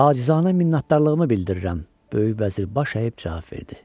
Acizanə minnətdarlığımı bildirirəm, böyük vəzir baş əyib cavab verdi.